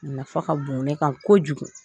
Nafa ka bon ne kan kojugu